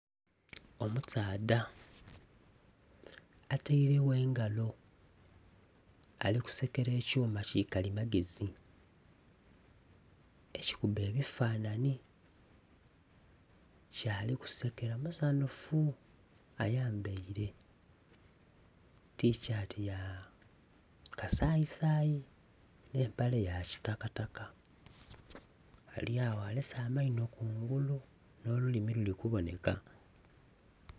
Omusaadha ataire engalo alikusekera ekyuma kikalimagezi ekikubba ebifanhanhi kyali kusekera musanhufu ayambaire tishati yakasayi sayi n'empale yakitaka taka alyagho alese amaino kungulu nolulimi lulikuboneka.